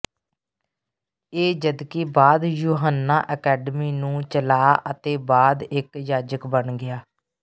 ਇੱਕ ਜਦਕਿ ਬਾਅਦ ਯੂਹੰਨਾ ਅਕੈਡਮੀ ਨੂੰ ਚਲਾ ਅਤੇ ਬਾਅਦ ਇੱਕ ਜਾਜਕ ਬਣ ਗਿਆ